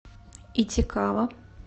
итикава